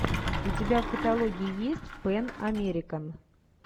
у тебя в каталоге есть пэн американ